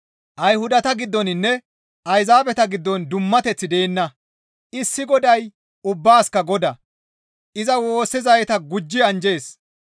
Ayhudata giddoninne Ayzaabeta giddon dummateththi deenna; issi Goday ubbaasikka Godaa; iza woossizayta gujji anjjees.